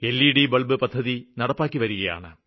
ൽ E D bulb പദ്ധതി നടപ്പാക്കിവരികയാണ്